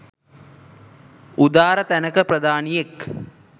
උදාර තැනක ප්‍රධානියෙක්